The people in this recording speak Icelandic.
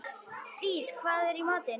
Dís, hvað er í matinn?